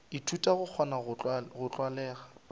ithuta go kgona go tlwalega